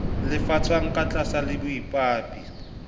lefshwang ka tlaase le baithaopi